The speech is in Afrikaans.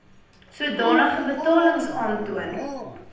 sodanige betalings aantoon